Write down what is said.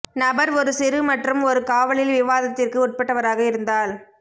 நபர் ஒரு சிறு மற்றும் ஒரு காவலில் விவாதத்திற்கு உட்பட்டவராக இருந்தால்